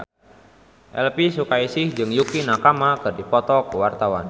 Elvy Sukaesih jeung Yukie Nakama keur dipoto ku wartawan